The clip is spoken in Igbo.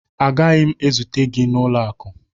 Agaghị m ezute gị n'ụlọ akụ